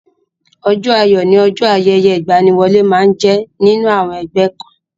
Ọjọ́ ayọ̀ ni ọjọ́ ayẹyẹ ìgbaniwọlé máa ń jẹ nínú àwọn ẹgbẹ́ kan.